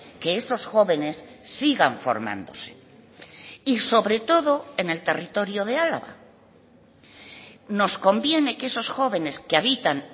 que esos jóvenes sigan formándose y sobre todo en el territorio de álava nos conviene que esos jóvenes que habitan